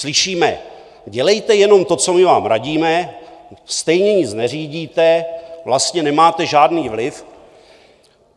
Slyšíme: Dělejte jenom to, co my vám radíme, stejně nic neřídíte, vlastně nemáte žádný vliv.